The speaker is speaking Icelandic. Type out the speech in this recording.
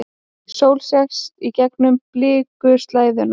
Sól sést gegnum blikuslæðuna.